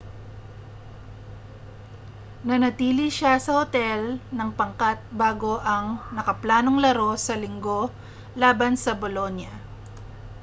nanatili siya sa otel ng pangkat bago ang nakaplanong laro sa linggo laban sa bolonia